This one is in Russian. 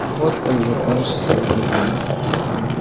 вот как закончился этот день